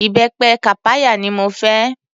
Ìbẹpẹ kàpáyà ni mo fẹ́.